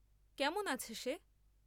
কেমন আছে সে?